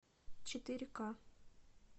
четыре ка